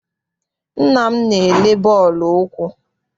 Nna m na-elele bọọlụ ụkwụ.